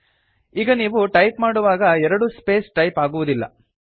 ಈಗ ನೀವು ಟೈಪ್ ಮಾಡುವಾಗ ಎರಡು ಸ್ಪೇಸ್ ಟೈಪ್ ಆಗುವುದಿಲ್ಲ